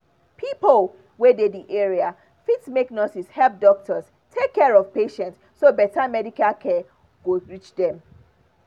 pipo wey dey the area fit make nurses help doctors take care of patients so better medical care go reach dem